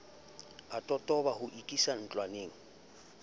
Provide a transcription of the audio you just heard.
a totoba ho ikisa ntlwaneng